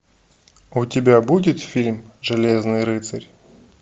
у тебя будет фильм железный рыцарь